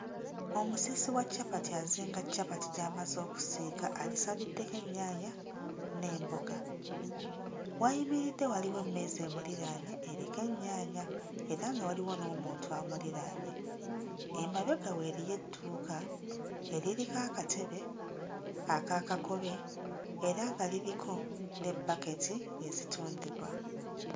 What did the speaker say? Omusiisi wa capati azinga capati gy'amaze okuzinga agisaliddeko ennyaanya n'emboga w'ayimiridde waliwo emmeeza emuliraanye eriko ennyaanya era nga waliwo n'omuntu amuliraanye emabega we eriyo edduuka eririko akatebe aka kakobe era nga liriko ne bbaketi ezitundibwa.